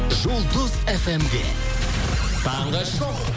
жұлдыз фм де таңғы шоу